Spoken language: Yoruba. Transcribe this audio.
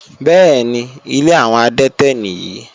Bẹ́ẹ̀ni, ilé àwọn adẹ́tẹ̀ nìyí.